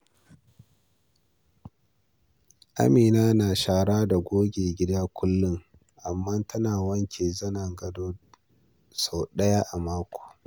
Amina na shara da goge gidan kullum, amma tana wanke zanen gado sau ɗaya a mako.